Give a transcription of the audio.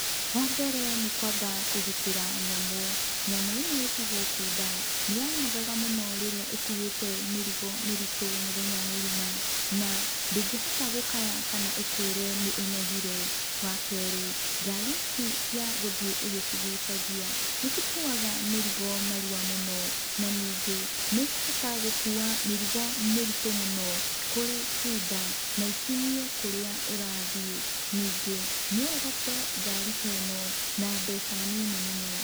Wa mbere, nĩ kwamba kũgĩtĩra nyamũ. Nyamũ ĩno ĩtagũo bunda, nĩ yanogaga mũno rĩrĩa ĩkuĩte mĩrigo mĩritu mũthenya mũgĩma na ndĩngĩ hota gũkaya kana ĩkwĩre nĩ ĩnogĩre. Wa keerĩ, ngari ici cia gũthiĩ ũgĩ cigũcagia nĩ ikũũaga mĩrigo narũa mũno, na ningĩ nĩ ĩkũhota gũkũũa mĩrigo mĩritu mũno kũrĩ bunda na ikinyie kũrĩa ũrathĩĩ. Ningĩ no ũgate ngari ta ĩno na mbeca nini mũno.